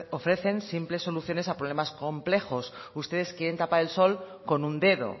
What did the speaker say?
ofrecen simples soluciones a problemas complejos ustedes quieren tapar el sol con un dedo